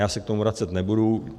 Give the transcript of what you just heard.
Já se k tomu vracet nebudu.